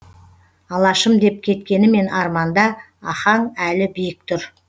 алашым деп кеткенімен арманда ахаң әлі биік тұр